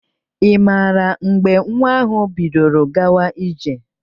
Ị maara mgbe nwa ahụ bidoro gawa ije?